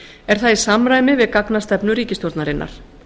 er það í samræmi við gagnastefnu ríkisstjórnarinnar